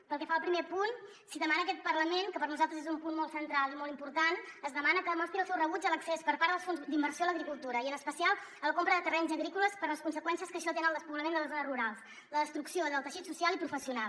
pel que fa al primer punt es demana a aquest parlament que per nosaltres és un punt molt central i molt important que mostri el seu rebuig a l’accés per part dels fons d’inversió a l’agricultura i en especial a la compra de terrenys agrícoles per les conseqüències que això té en el despoblament de les zones rurals la destrucció del teixit social i professional